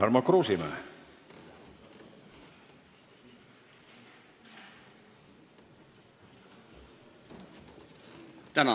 Tarmo Kruusimäe.